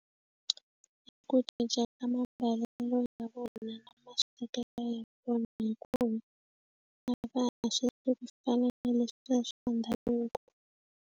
Ku cinca ka mambalelo ya vona na maswekelo ya vona hinkwavo a va ha swi vuli ku fana na leswiya swa ndhavuko.